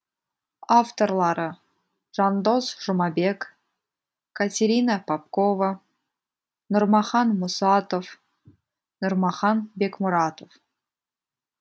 авторлары жандос жұмабек катерина попкова нурмахан мусатов нурмахан бекмуратов